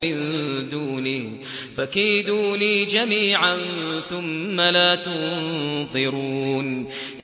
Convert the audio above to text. مِن دُونِهِ ۖ فَكِيدُونِي جَمِيعًا ثُمَّ لَا تُنظِرُونِ